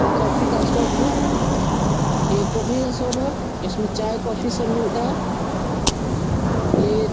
इ काफी का शॉप है ये काफी का शॉप है इसमें चाय-काफी सब मिलता है। ये --